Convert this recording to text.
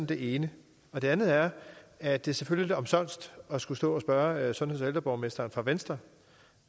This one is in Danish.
det ene det andet er at det selvfølgelig omsonst at skulle stå og spørge sundheds og ældreborgmesteren fra venstre